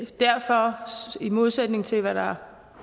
derfor i modsætning til hvad der